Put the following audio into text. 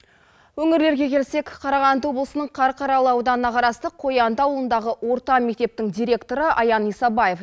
өңірлерге келсек қарағанды облысының қарқаралы ауданына қарасты қоянды ауылындағы орта мектептің директоры аян исабаев